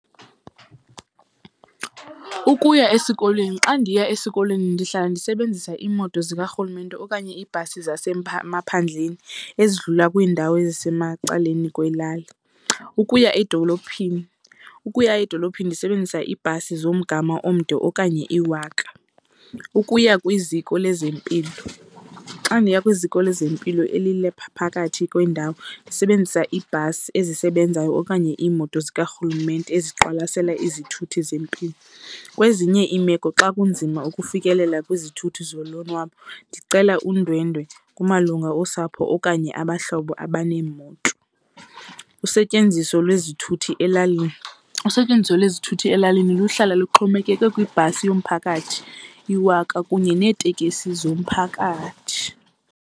Ukuya esikolweni, xa ndiya esikolweni ndihlala ndisebenzisa iimoto zikarhulumente okanye iIbhasi maphandleni ezidlula kwiindawo ezisemacaleni kwelali. Ukuya edolophini, ukuya edolophini ndisebenzisa iibhasi zomgama omde okanye iwaka. Ukuya kwiziko lezempilo, xa ndiya kwiziko lezempilo elilapha phakathi kwendawo ndisebenzisa iibhasi ezisebenzayo okanye iimoto zikarhulumente eziqwalasela izithuthi zempilo. Kwezinye iimeko xa kunzima ukufikelela kwizithuthi zolonwabo, ndicela undwendwe kumalunga osapho okanye abahlobo abaneemoto. Usetyenziso lwezithuthi elalini, usetyenziso lwezithuthi elalini luhlala luxhomekeke kwibhasi yomphakathi iwaka kunye neetekisi zomphakathi.